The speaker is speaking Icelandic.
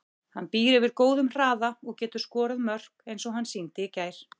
Hann býr yfir góðum hraða og getur skorað mörk eins og hann sýndi í gær.